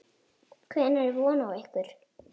Hvenær er von á ykkur?